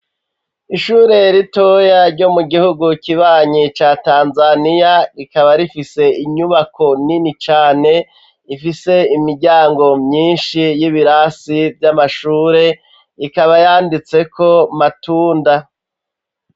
Ishure ritoya ryo mu gihugu kibanyi ca Tanzaniya rikaba rifise inyubako nini cane ifise imiryango myishi y'ibirasi vy'amashure ikaba yanditseko Matunda.